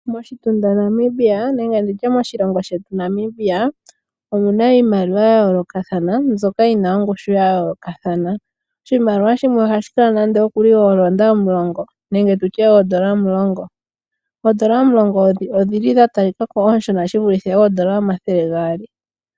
Moshitunda shetu Namibia omu na iimaliwa ya yoolokathana mbyoka yi na ongushu ya yoolokathana. Oodolla omulongo oonshona na odhi vulike koodolla omathele gaali.